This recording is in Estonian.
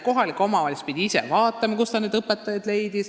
Kohalik omavalitsus pidi ikka ise vaatama, kust need õpetajad leida.